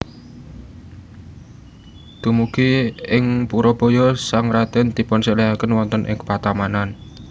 Dumugi ing Purabaya sang radèn dipunsèlèhaken wonten ing patamanan